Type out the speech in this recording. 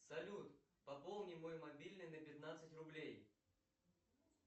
салют пополни мой мобильный на пятнадцать рублей